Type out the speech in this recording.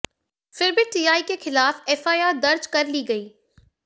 फिर भी टीआई के खिलाफ एफआईआर दर्ज कर ली गई